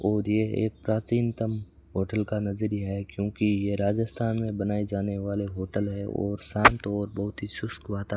और ये एक प्राचीनतम होटल का नजरिया है क्योंकि यह राजस्थान में बनाए जाने वाले होटल है और शांत और बहोत ही शुष्क वाता --